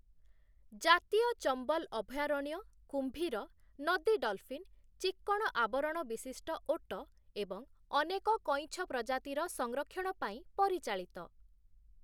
ଜାତୀୟ ଚମ୍ବଲ ଅଭୟାରଣ୍ୟ କୁମ୍ଭୀର, ନଦୀ ଡଲଫିନ୍‌, ଚିକ୍କଣ ଆବରଣ ବିଶିଷ୍ଟ ଓଟ ଏବଂ ଅନେକ କଇଁଛ ପ୍ରଜାତିର ସଂରକ୍ଷଣ ପାଇଁ ପରିଚାଳିତ ।